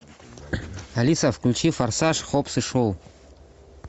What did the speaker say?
алиса включи форсаж хоббс и шоу